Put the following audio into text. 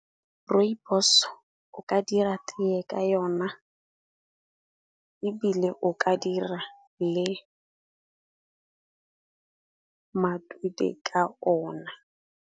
Rooibos o ka dira teye ka yona ebile o ka dira le matute ka ona.